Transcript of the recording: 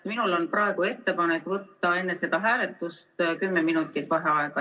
Minul on praegu ettepanek võtta enne hääletust 10 minutit vaheaega.